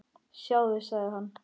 Sjáðu, sagði hann.